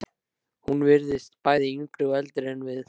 Hún virtist bæði yngri og eldri en við.